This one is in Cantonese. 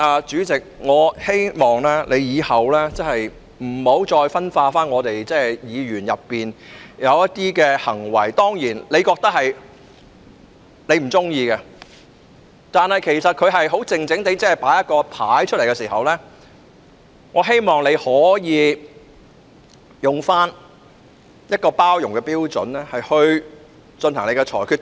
主席，我亦希望你往後不要再針對我們議員的一些行為——當然，你不喜歡這些行為——但他們只是安靜地展示標語牌時，我希望你可以用包容的態度來處理。